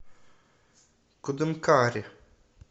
кудымкаре